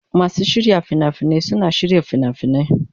Masu shirya fina-finai suna shirya fina-finai.